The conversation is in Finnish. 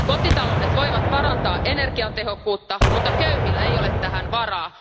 Kotitaloudet voivat parantaa energiatehokkuutta, mutta köyhillä ei ole tähän varaa.